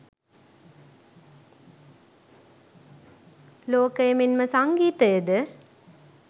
ලෝකය මෙන්ම සංගීතයද